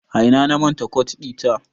A ina na manta kot ɗita?